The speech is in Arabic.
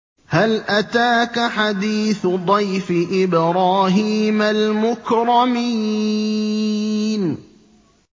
هَلْ أَتَاكَ حَدِيثُ ضَيْفِ إِبْرَاهِيمَ الْمُكْرَمِينَ